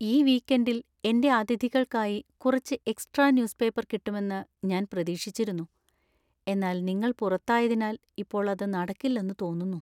ഈ വീക്കെൻഡിൽ എന്‍റെ അതിഥികൾക്കായി കുറച്ച് എക്സ്ട്രാ ന്യൂസ് പേപ്പർ കിട്ടുമെന്ന് ഞാൻ പ്രതീക്ഷിച്ചിരുന്നു, എന്നാൽ നിങ്ങൾ പുറത്തായതിനാൽ ഇപ്പോൾ അത് നടക്കില്ലെന്നു തോന്നുന്നു.